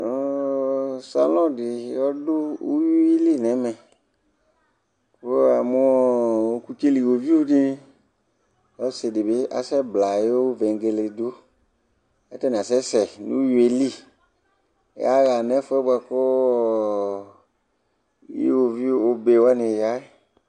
salɔn di ɔdò uwili n'ɛmɛ kò wamo ɔkutsɛli uwoviu di ɔsi di bi asɛ bla ayi vegele do k'atani asɛ sɛ n'uwi yɛ li ya ɣa n'ɛfu yɛ boa kò iwoviu obe wani ya yɛ